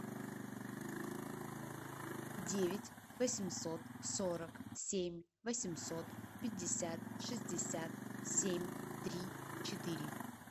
девять восемьсот сорок семь восемьсот пятьдесят шестьдесят семь три четыре